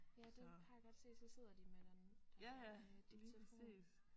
Ja det har jeg godt set så sidder de med den der øh lille telefon